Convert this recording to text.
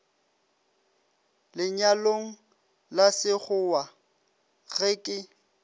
lenyalong la sekgowa ge ke